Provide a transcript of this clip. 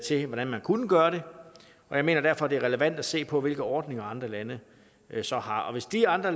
se hvordan man kunne gøre det jeg mener derfor det er relevant at se på hvilke ordninger andre lande så har og hvis de andre